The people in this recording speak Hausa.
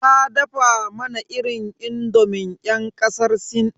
Ta dafa mana irin indomin yan kasar sin.